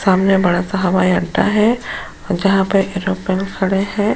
सामने बहुत बड़ा सा हवाई अड्डा है और जहां पर ऐरोप्लेन लोग खड़े है।